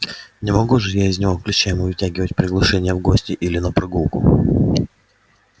не могу же я из него клещами вытягивать приглашение в гости или на прогулку